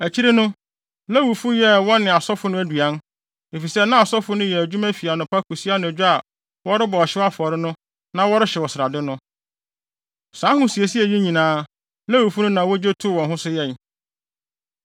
Akyiri no, Lewifo yɛɛ wɔn ne asɔfo no aduan, efisɛ na asɔfo no ayɛ adwuma fi anɔpa kosi anadwo a wɔrebɔ ɔhyew afɔre no na wɔrehyew srade no. Saa ahosiesie yi nyinaa, Lewifo no na wogye too wɔn ho so yɛe.